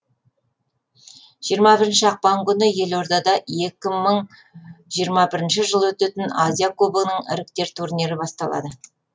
жиырма бірінші ақпан күні елордада екі мың жиырма бірінші жылы өтетін азия кубогінің іріктеу турнирі басталады